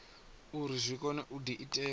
uri zwi kone u diitela